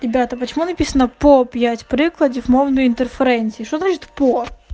ребята почему написано по пять прикладив можно интерференции что значит по